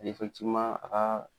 Lefɛkitiweman a ka